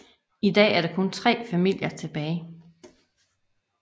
I dag er der kun tre familier tilbage